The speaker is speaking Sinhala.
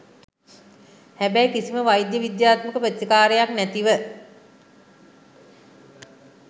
හැබැයි කිසිම වෛද්‍ය විද්‍යාත්මක ප්‍රතිකාරයක් නැතුව